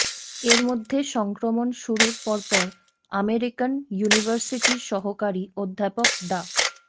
এর মধ্যে সংক্রমণ শুরুর পরপর আমেরিকান ইউনিভার্সিটির সহকারী অধ্যাপক ডা